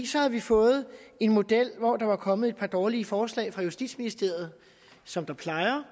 så havde vi fået en model hvor der var kommet et par dårlige forslag fra justitsministeriet som der plejer